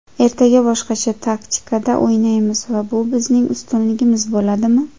Ertaga boshqacha taktikada o‘ynaymiz va bu bizning ustunligimiz bo‘ladimi?